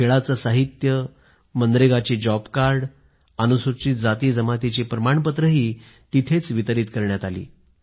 खेळाचं साहित्य मनरेगाची जॉब कार्ड आणि अनुसूचित जाती आणि जमातीची प्रमाणपत्रेही तिथंच वाटली